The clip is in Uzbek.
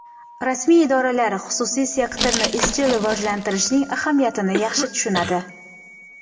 Rasmiy idoralar xususiy sektorni izchil rivojlantirishning ahamiyatini yaxshi tushunadi.